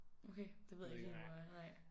Okay det ved jeg ikke helt hvor er nej